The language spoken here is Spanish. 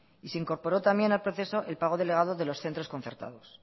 y se incorporó también al proceso el pago delegado de los centros concertados